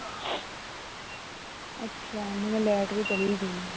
ਅੱਛਾ light ਵੀ ਚਲੇ ਗਈ